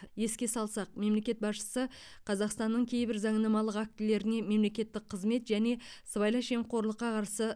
еске салсақ мемлекет басшысы қазақстанның кейбір заңнамалық актілеріне мемлекеттік қызмет және сыбайлас жемқорлыққа қарсы